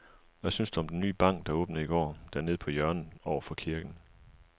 Hvad synes du om den nye bank, der åbnede i går dernede på hjørnet over for kirken?